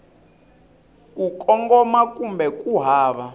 ku kongoma kumbe ku hava